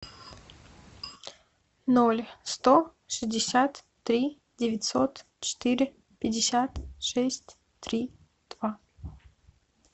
ноль сто шестьдесят три девятьсот четыре пятьдесят шесть три два